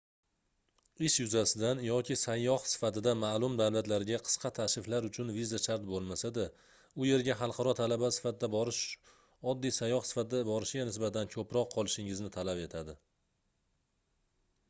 ish yuzasidan yoki sayyoh sifatida maʼlum davlatlarga qisqa tashriflar uchun viza shart boʻlmasa-da u yerga xalqaro talaba sifatida borish oddiy sayyoh sifatida borishga nisbatan koʻproq qolishingizni talab etadi